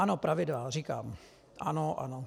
Ano, pravidla, říkám, ano, ano.